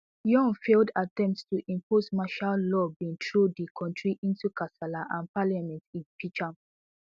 yoon failed attempt to impose martial law bin throw di kontri into kasala and parliament impeach am